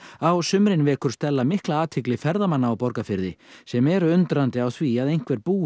á sumrin vekur Stella mikla athygli ferðamanna á Borgarfirði sem eru undrandi á því að einhver búi í